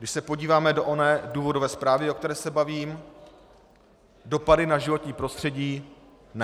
Když se podíváme do oné důvodové zprávy, o které se bavím, dopady na životní prostředí: Ne.